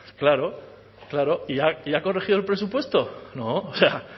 claro claro y ha corregido el presupuesto no o sea